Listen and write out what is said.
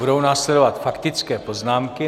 Budou následovat faktické poznámky.